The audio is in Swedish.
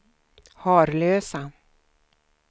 Harlösa